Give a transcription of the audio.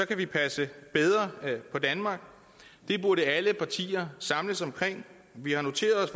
kan vi passe bedre på danmark det burde alle partier samles om vi har noteret os